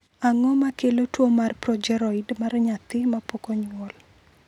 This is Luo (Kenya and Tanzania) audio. Ang’o ma kelo tuwo mar progeroid mar nyathi ma pok onyuol?